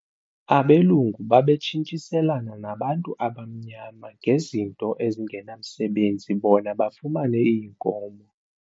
Abelungu babetshintshiselana nabantu abamnyama ngezinto ezingenamsebenzi bona bafumane iinkomo.